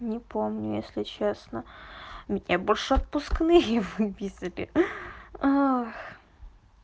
не помню если честно мне больше отпускные выписали ах